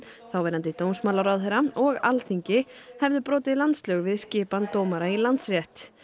þáverandi dómsmálaráðherra og Alþingi hefðu brotið landslög við skipan dómara í Landsrétt